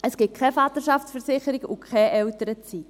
Es gibt keine Vaterschaftsversicherung und keine Elternzeit.